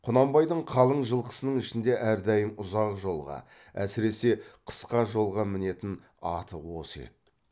құнанбайдың қалың жылқысының ішінде әрдайым ұзақ жолға әсіресе қысқа жолға мінетін аты осы еді